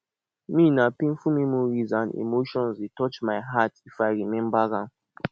me na painful memories and emotions dey touch my my heart if i remember am